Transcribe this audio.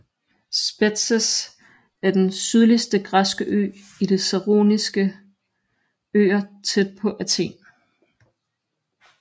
Spetses er den sydligste græske ø i De Saroniske Øer tæt på Athen